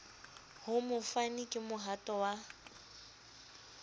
ho mofani ke mohato wa